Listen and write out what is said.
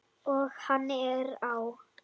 Og hann er á!